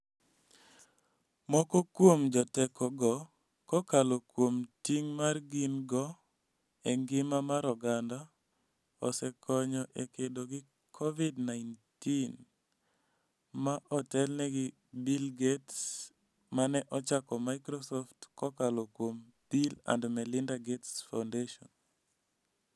Moko kuom jotekogo, kokalo kuom ting' ma gin-go e ngima mar oganda, osekonyo e kedo gi Covid-19, ma otelnegi gi Bill Gates ma ne ochako Microsoft kokalo kuom Bill & Melinda Gates Foundation.